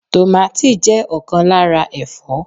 Tomàti jẹ́ ọ̀kan lára Ẹ̀fọ́.